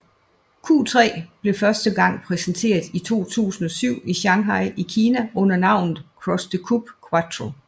Q3 blev første gang præsenteret i 2007 i Shanghai i Kina under navnet Cross Coupé Quattro